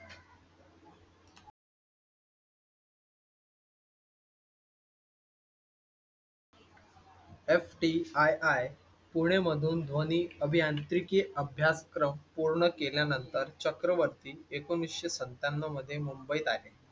FTII Pune मधून ध्वनी अभियांत्रिकी अभ्यासक्रम पूर्ण केल्या नंतर चक्रवर्ती एकोणवीसशे सत्याण्णव मध्ये